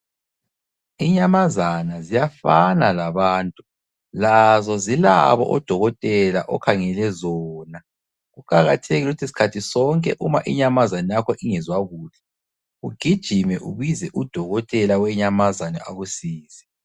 Inyamazana ziyafana labantu, lazo zilabo odokotela okhangele zona. Kuqakathekile ukuthi sikhathi sonke uma inyamazana yakho ingezwa kuhle ugijime ubize udokotela wenyamazana akusize.